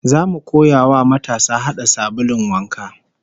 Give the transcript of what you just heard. Zamu koya wa matasa hada sabulun wanka